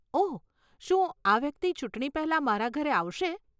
ઓહ, શું આ વ્યક્તિ ચૂંટણી પહેલા મારા ઘરે આવશે?